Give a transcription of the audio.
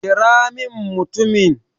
kira min mutumin!